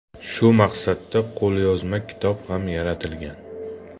Shu maqsadda qo‘lyozma kitob ham yaratilgan.